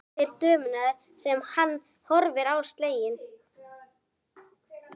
Brosir til dömunnar sem horfir á hann slegin.